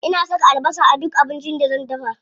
Ina saka albasa a duk abincin da zan dafa.